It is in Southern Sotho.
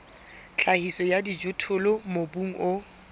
tlhahiso ya dijothollo mobung o